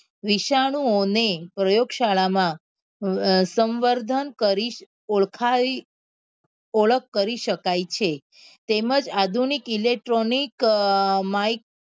વિશાનું ઓ ને પ્રયોગ શાળા માં અ સંવર્ધન કરી ઓળખાવી ઓળખ કરી શકાય છે તેમજ આધુનિક electronic માઈ